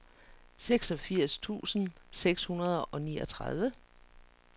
seksogfirs tusind seks hundrede og niogtredive